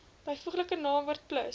byvoeglike naamwoord plus